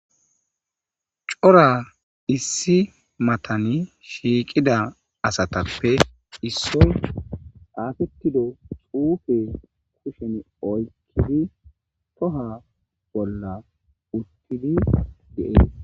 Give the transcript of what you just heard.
cora issi matani shiiqida asatappe issoy afetido xuufe kushen oykkidi toha bolla uttidi deee